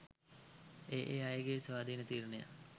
ඒ ඒ අයගේ ස්වාධීන තීරණයක්.